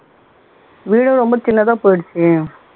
வீடு ரொம்ப சின்னதா போயிருச்சு